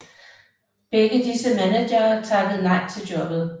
Begge disse managere takkede nej til jobbet